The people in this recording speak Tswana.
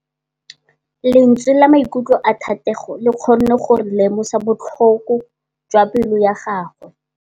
Lentswe la maikutlo a Thategô le kgonne gore re lemosa botlhoko jwa pelô ya gagwe.